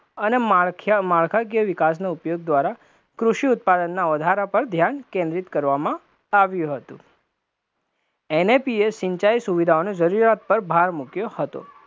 અને માળખાકીય વિકાસનો ઉપયોગ દ્વારા કૃષિ ઉત્પાદનના વધારા પર ધ્યાન કેન્દ્રિત કરવામાં આવ્યું હતું, NAP એ સિંચાઇ સુવિધાઓને જરૂરિયાત પર ભાર મુક્યો હતો,